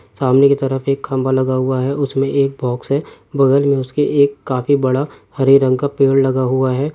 सामने के तरफ एक खम्बा लगा हुआ है। उसमे एक बॉक्स है। बगल में उसके एक काफी बड़ा हरे रंग पेड़ लगा हुआ है।